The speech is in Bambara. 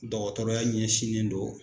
Dɔgɔtɔrɔya ɲɛsinnen don.